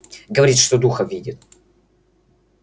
говорит что духов видит